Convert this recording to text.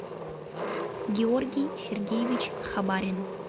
георгий сергеевич хабарин